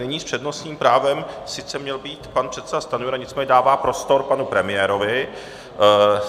Nyní s přednostním právem sice měl být pan předseda Stanjura, nicméně dává prostor panu premiérovi.